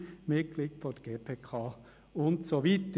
Er war Mitglied der GPK und so weiter.